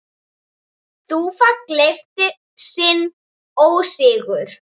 Þúfa gleypti sinn ósigur.